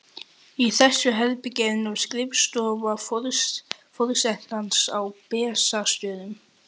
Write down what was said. Í þessu herbergi er nú skrifstofa forsetans á Bessastöðum.